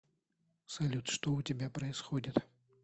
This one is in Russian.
салют что у тебя происходит